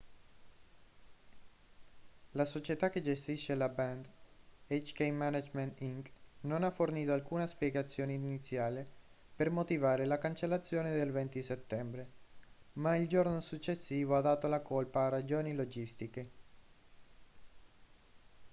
la società che gestisce la band hk management inc non ha fornito alcuna spiegazione iniziale per motivare la cancellazione del 20 settembre ma il giorno successivo ha dato la colpa a ragioni logistiche